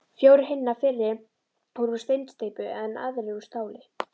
Fjórir hinna fyrri voru úr steinsteypu, en aðrir úr stáli.